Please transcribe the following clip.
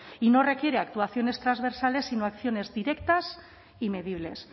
y no requiere actuaciones trasversales sino acciones directas y medibles